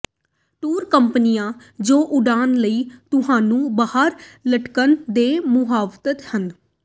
tour ਕੰਪਨੀਆਂ ਜੋ ਉਡਾਨ ਲਈ ਤੁਹਾਨੂੰ ਬਾਹਰ ਲਟਕਣ ਦੇ ਮੁਹਾਰਤ ਹਨ